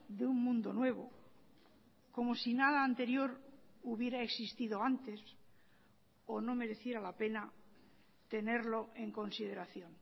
de un mundo nuevo como si nada anterior hubiera existido antes o no mereciera la pena tenerlo en consideración